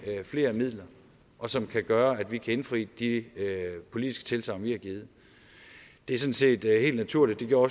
flere midler og som kan gøre at vi kan indfri de politiske tilsagn vi har givet det er sådan set helt naturligt det gjorde